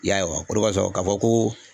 I y'a ye wa, o de kosɔn, k'a fɔ ko